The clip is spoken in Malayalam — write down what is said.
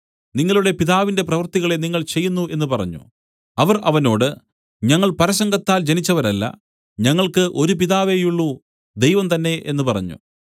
നിങ്ങളുടെ പിതാവിന്റെ പ്രവൃത്തികളെ നിങ്ങൾ ചെയ്യുന്നു എന്നു പറഞ്ഞു അവർ അവനോട് ഞങ്ങൾ പരസംഗത്താൽ ജനിച്ചവരല്ല ഞങ്ങൾക്കു ഒരു പിതാവേയുള്ളു ദൈവം തന്നേ എന്നു പറഞ്ഞു